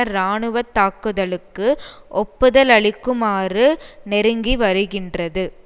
இராணுவ தாக்குதலுக்கு ஒப்புதலளிக்குமாறு நெருக்கிவருகின்றது